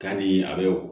Ka ni a bɛ wo